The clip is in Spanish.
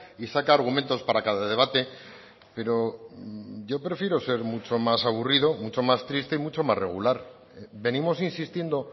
y saca argumentos para cada debate pero yo prefiero ser mucho más aburrido mucho más triste y mucho más regular venimos insistiendo